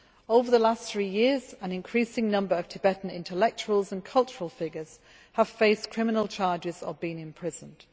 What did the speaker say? Over the last three years, an increasing number of Tibetan intellectuals and cultural figures have faced criminal charges or been imprisoned.